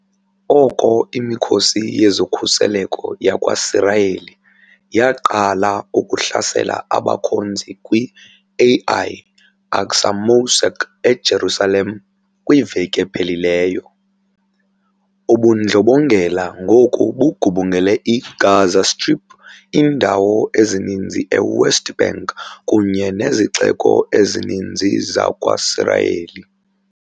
Oko imikhosi yezokhuseleko yakwaSirayeli yaqala ukuhlasela abakhonzi kwi-Al-Aqsa Mosque eJerusalem kwiveki ephelileyo, ubundlobongela ngoku bugubungele i-Gaza Strip, iindawo ezininzi e-West Bank kunye nezixeko ezininzi zakwaSirayeli.